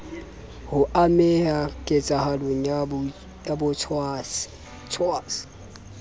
ho ameha ketsahalong ya botshwasi